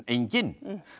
enginn